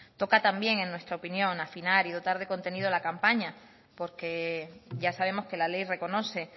toca también en nuestra opinión a fin de dar de contenido a la campaña porque ya sabemos que la ley reconoce